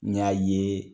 N y'a ye